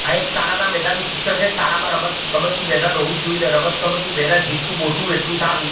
આ એક શાળા ના મેદાન નું ચિત્ર છે શાળામાં રમતગમતનું મેદાન હોવું જ જોઈએ ને રમતગમતનું મેદાન જેટલું મોટું એટલું સારું.